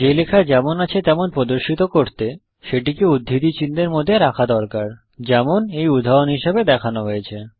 যে লেখা যেমন আছে তেমন প্রদর্শিত করতে সেটিকে উদ্ধৃতি চিহ্নের মধ্যে রাখা দরকার যেমন এই উদাহরণ এ হিসেবে দেখানো হয়েছে